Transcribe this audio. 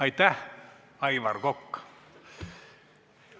Aitäh, Aivar Kokk!